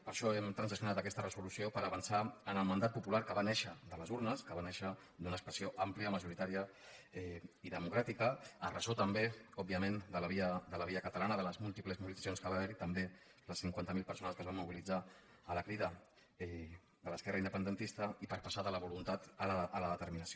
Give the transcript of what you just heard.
per això hem transaccionat aques·ta resolució per avançar en el mandat popular que va néixer de les urnes que va néixer d’una expressió àm·plia majoritària i democràtica a ressò també òbvia·ment de la via catalana de les múltiples mobilitzaci·ons que va haver·hi també les cinquanta mil persones que es van mobilitzar a la crida de l’esquerra indepen·dentista i per passar de la voluntat a la determinació